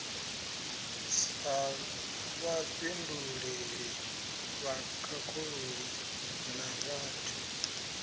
sa vhafhinduleli vhakhakhululi na vhad